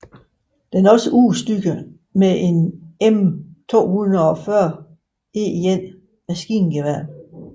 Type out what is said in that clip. Den er også udstyret med et M240E1 maskingevær